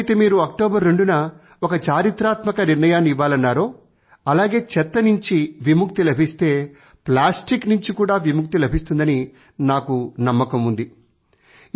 ఎలాగైతే మీరు అక్టోబర్ 2న ఒక చారిత్రాత్మక నిర్ణయాన్ని ఇవ్వాలన్నారో అలానే చెత్త నుంచి విముక్తి లభిస్తే ప్లాస్తిక్ నుంచి కూడా విముక్తి లభిస్తుందని నాకు నమ్మకం ఉంది